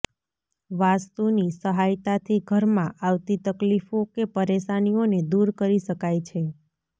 વાસ્તુની સહાયતાથી ઘરમાં આવતી તકલીફો કે પરેશાનીઓને દૂર કરી શકાય છે